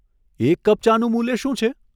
એક કપ ચાનું મૂલ્ય શું છે?